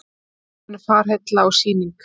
Óskum henni fararheilla og Sýning